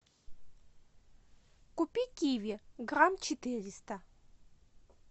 купи киви грамм четыреста